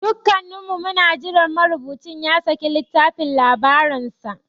Dukanmu muna jiran marubucin ya saki littafin labaransa.